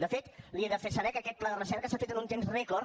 de fet li he de fer saber que aquest pla de recerca s’ha fet en un temps rècord